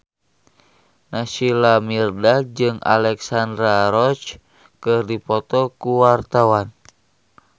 Naysila Mirdad jeung Alexandra Roach keur dipoto ku wartawan